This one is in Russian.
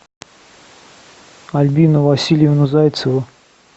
альбину васильевну зайцеву